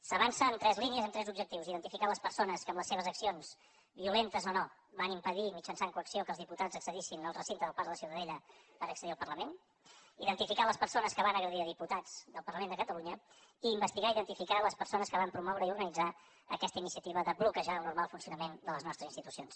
s’avança en tres línies en tres objectius identificar les persones que amb les seves accions violentes o no van impedir mitjançant coacció que els diputats accedissin al recinte del parc de la ciutadella per accedir al parlament identificar les persones que van agredir diputats del parlament de catalunya i investigar i identificar les persones que van promoure i organitzar aquesta iniciativa de bloquejar el normal funcionament de les nostres institucions